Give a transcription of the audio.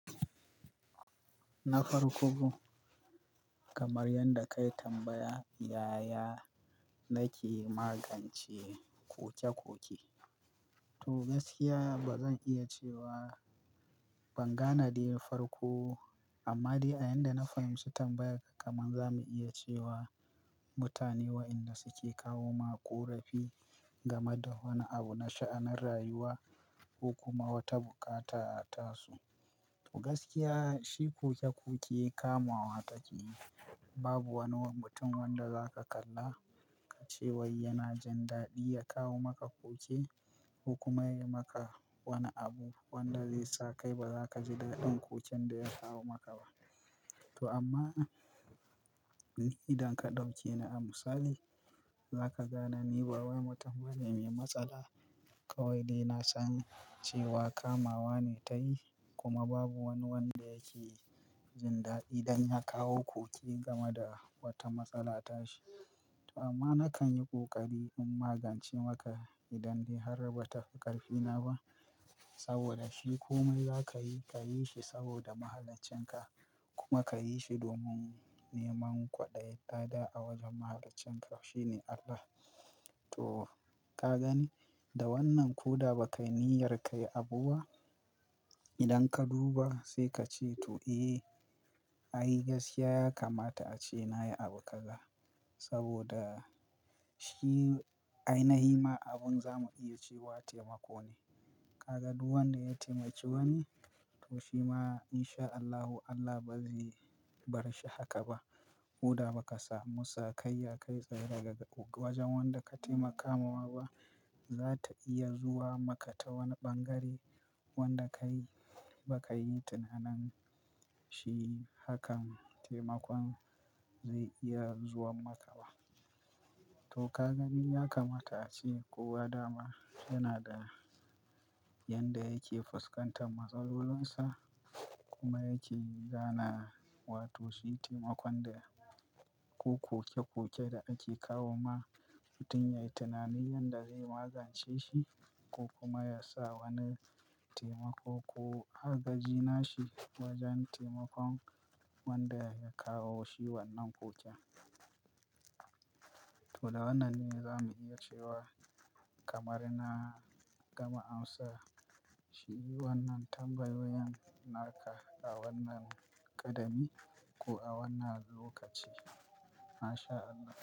Na farko ko kamar yadda kai tambaya, yayaya nake magance koke-koke? To gaskiya ba zan iya cewa ban gane da yin farko ba, amma dai a yanda na fahimci tambayar ka, kaman za mu iya cewa mutane waɗanda suke kawo ma ƙorafi game da wani abu na sha'anan rayuwa ko kuma wata bukata a tasu. To gaskiya shi koke-koke kamawa take yi. Babu wani mutum wanda za ka kalla ka ce wai yana jin daɗi ya kawo maka koke ko kuma yayi maka wani abu wanda zai sa kai ba za ka ji daɗin koken da ya kawo maka ba. To amma idan ka ɗauke ni a misali, za ka gane ni ba wani mutum bane mai matsala. Kawai dai na sani cewa kamawa ne tayi kuma babu wani wanda yake jin daɗi idan ya kawo koke game da wata matsala ta shi. Amma na kan yi ƙoƙari in magance maka idan dai har ba ta fi ƙarfi na ba. Saboda shi komai za ka yi, ka yi shi saboda mahalancinka kuma ka yi shi domin neman kwaɗayi lada a wajen mahalancinka shine Allah. To ka gani da wannan ko da ba ka niyyar kai abu ba, idan ka duba sai ka ce to eh ai gaskiya ya kamata ace nayi abu kaza. Saboda shi aina himma abun za mu iya ce wa taimako ne. Ka ga duk wanda ya taimaki wani, to shi ma in sha Allahu Allah ba zai bar shi haka ba. Ko da ba ka samu sakayya kai tsaye daga wajen wanda ka taimaka kamawa ba, za ta iya zuwa maka ta wani ɓangare wanda ka yi ba ka yi tunanin shi hakan taimakon zai iya zuwan maka ba. To ka gani ya kamata ace kowa da ma yana da yanda yake fuskantar matsalolinsa kuma yake gana wa to shi taimakon da ko koke-koke da ake kawo ma mutum ya yi tunanin yadda zai magance shi ko kuma ya sa wani taimako ko a gaji nashi wajen taimakon wanda ya kawo shi wannan koken. To da wannan ne za mu iya cewa kamar na gama amsa shi wannan tambayoyin naka a wannan ƙadami ko a wannan lokaci. MashAllah.